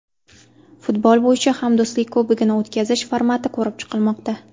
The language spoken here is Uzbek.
Futbol bo‘yicha Hamdo‘stlik Kubogini o‘tkazish formati ko‘rib chiqilmoqda.